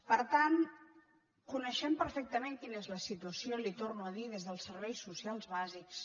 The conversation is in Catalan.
per tant coneixem perfectament quina és la situa·ció li ho torno a dir des dels serveis socials bàsics